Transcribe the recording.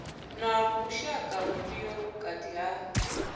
na vhushaka vhufhio vhukati ha